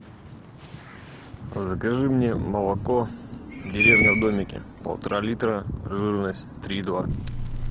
закажи мне молоко деревня в домике полтора литра жирность три и два